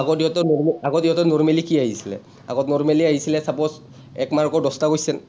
সিহঁতৰ , আগত সিহঁতৰ normally কি আহিছিলে, আগত normally আহিছিলে suppose এক mark ৰ দহটা question